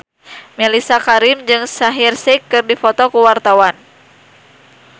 Mellisa Karim jeung Shaheer Sheikh keur dipoto ku wartawan